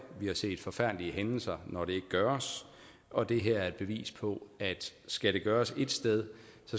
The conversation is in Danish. vi har set forfærdelige hændelser når det ikke gøres og det her er et bevis på at skal det gøres et sted